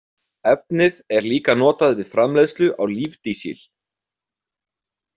Efnið er líka notað við framleiðslu á lífdísil.